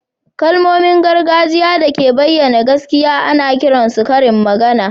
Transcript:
Kalmomin gargajiya da ke bayyana gaskiya ana kiran su karin magana